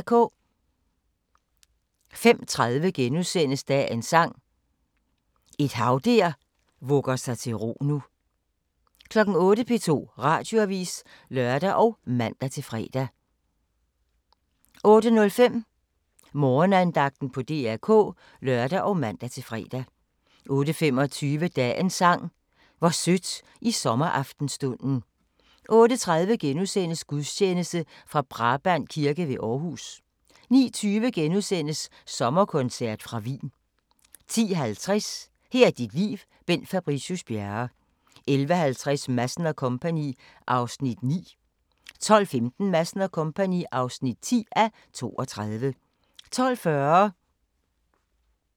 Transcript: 05:20: Dagens Sang: Et hav der vugger sig til ro nu * 08:00: P2 Radioavis (lør og man-fre) 08:05: Morgenandagten på DR K (lør og man-fre) 08:25: Dagens Sang: Hvor sødt i sommeraftenstunden 08:30: Gudstjeneste fra Brabrand Kirke ved Aarhus * 09:20: Sommerkoncert fra Wien * 10:50: Her er dit liv – Bent Fabricius Bjerre 11:50: Madsen & Co. (9:32) 12:15: Madsen & Co. (10:32) 12:40: Den gode, den onde og den virk'li sjove